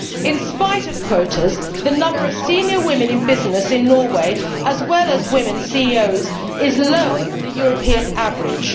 In spite of quotas, the number of senior women in business in Norway, like the number of women CEOs, is lower than the European average.